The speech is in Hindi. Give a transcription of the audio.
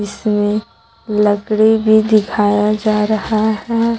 इसमें लकड़ी भी दिखाया जा रहा है।